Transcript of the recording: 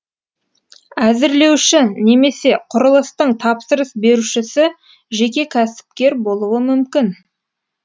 әзірлеуші немесе құрылыстың тапсырыс берушісі жеке кәсіпкер болуы мүмкін